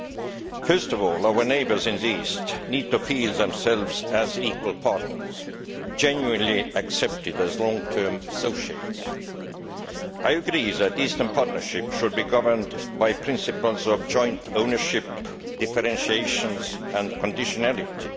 Above all, our neighbours in the east need to feel themselves as equal partners that are genuinely accepted as long term associates. I agree that the Eastern Partnership should be governed by the principles of joint ownership, differentiation and conditionality.